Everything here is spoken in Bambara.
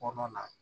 Kɔnɔ na